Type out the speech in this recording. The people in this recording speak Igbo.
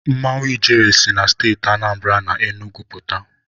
Mmanwụ Ijele si na Steeti Anambara na Enugwu pụta.